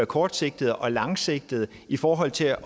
kortsigtede og langsigtede ting i forhold til